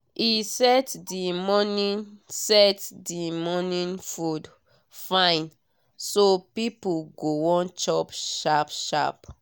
e set the morning set the morning food fine so people go wan chop sharp sharp.